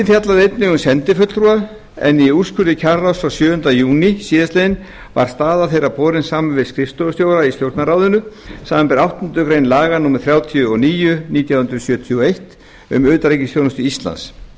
fjallaði einnig um sendifulltrúa en í úrskurði kjararáðs frá sjöunda júní síðastliðinn var staða þeirra borin saman við skrifstofustjóra í stjórnarráðinu samanber áttundu grein laga númer þrjátíu og níu nítján hundruð sjötíu og eitt um utanríkisþjónustu íslands